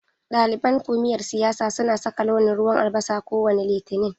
Ɗaliban kumiyar siyasa suna saka launin ruwan albasa kowane Litini.